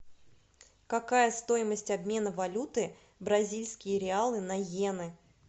какая стоимость обмена валюты бразильские реалы на йены